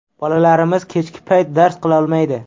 Bolalarimiz kechki payt dars qilolmaydi.